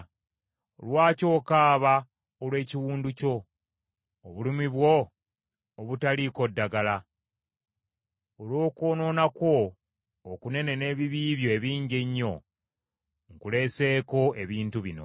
Lwaki okaaba olw’ekiwundu kyo, obulumi bwo obutaliiko ddagala? Olw’okwonoona kwo okunene n’ebibi byo ebingi ennyo nkuleeseeko ebintu bino.